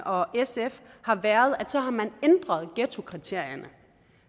og sf har været at så har man ændret ghettokriterierne